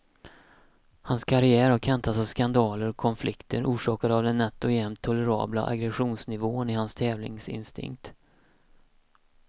Hans karriär har kantats av skandaler och konflikter, orsakade av den nätt och jämnt tolerabla aggressionsnivån i hans tävlingsinstinkt.